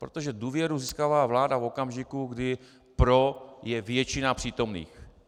Protože důvěru získává vláda v okamžiku, kdy pro je většina přítomných.